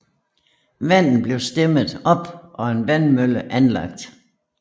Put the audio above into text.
Vandet blev stemmet op og en vandmølle anlagt